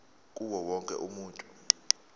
kuwo wonke umuntu